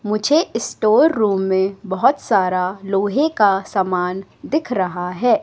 मुझे store room में बहोत सारा लोहे का समान दिख रहा है।